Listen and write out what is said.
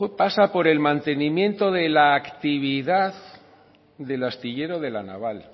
pasa por el mantenimiento de la actividad del astillero de la naval